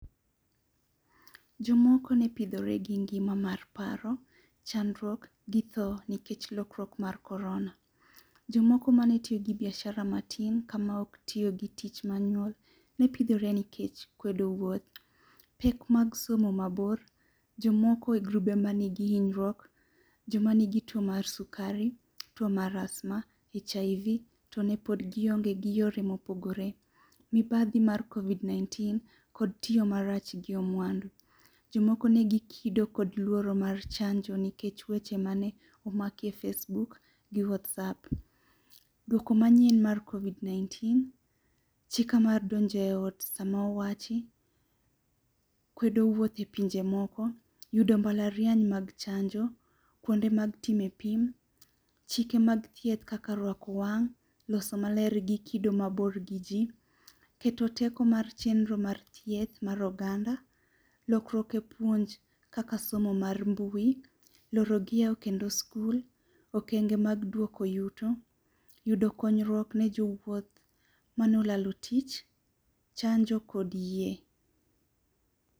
Jomoko nepidhore gi ngima mar paro, chandruok, gi tho nikech lokruok mar korona. Jomoko manetiyo gi biashara matin kama ok tiyo gi tich manual nepidhore nikech kwedo wuoth. Pek mag somo mabor, jomoko e grube ma nigi hinyruok, jomanigi tuo mar sukari, tuo mar asthma, HIV to nepod gionge gi yore mopogore. Mibadhi mar Covid nineteen kod tiyo marach gi omwandu. Jomoko negi kido kod luoro mar chanjo nikech weche mane, omakie e Facebook gi WhatsApp. Duoko manyien mar Covid nineteen, chika mar donjo e ot sama owachi, kwedo wuoth e pinje moko, yudo mbalariany mag chanjo, kwonde mag time e pim, chike mag thieth kaka rwako wang', loso maler gi kido mabor gi jii, keto teko mar chendro mar thieth mar oganda, lokruok e puonj, kaka somo mar mbui, loro gi yaw kendo skul, okenge mag duoko yuto, yudo konyruok ne jo wuoth mane olalo tich, chanjo kod yie